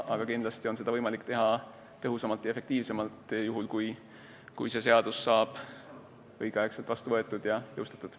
Ent kindlasti on seda võimalik teha tõhusamalt ja efektiivsemalt juhul, kui see seadus saab õigeks ajaks vastu võetud ja jõustatud.